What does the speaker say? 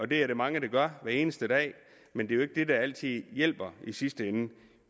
det er der mange der gør hver eneste dag men det er jo ikke altid det hjælper i sidste ende